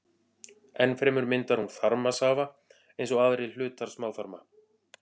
Enn fremur myndar hún þarmasafa eins og aðrir hlutar smáþarma.